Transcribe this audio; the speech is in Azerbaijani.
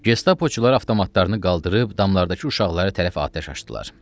Gestapoçular avtomatlarını qaldırıb damlardakı uşaqlara tərəf atəş açdılar.